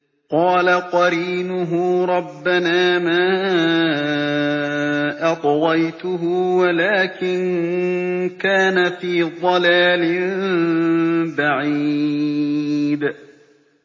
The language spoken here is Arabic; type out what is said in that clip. ۞ قَالَ قَرِينُهُ رَبَّنَا مَا أَطْغَيْتُهُ وَلَٰكِن كَانَ فِي ضَلَالٍ بَعِيدٍ